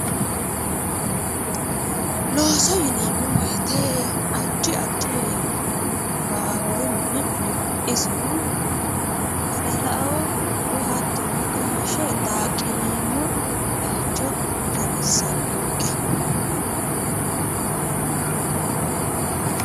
Looso yineemmo woyite addi addi baaburu mini no. Isino badalaoo woyi hattono gaashe daaqqineemmo bayicho xawissannonke.